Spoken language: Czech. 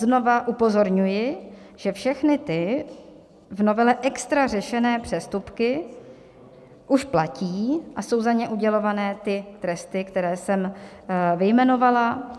Znovu upozorňuji, že všechny ty v novele extra řešené přestupky už platí a jsou za ně udělovány ty tresty, které jsem vyjmenovala.